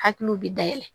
Hakiliw bɛ dayɛlɛ